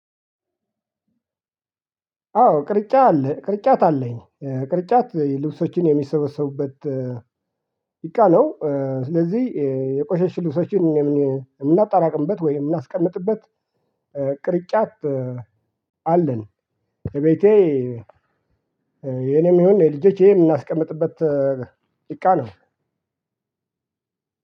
አዎ ቅርጫት አለ። ቅርጫት አለኝ። ቅርጫት ልብሶቼን የምሰበስብበት እቃ ነው። ስለዚህ የቆሸሸ ልብሶችን የምናጣራቅምበት ወይ የምናስቀምጥበት ቅርጫት አለን። እቤቴ የኔም ይሁን የልጆቼን የምናስቀምጥበት እቃ ነው።